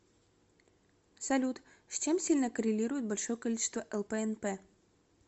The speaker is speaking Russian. салют с чем сильно коррелирует большое количество лпнп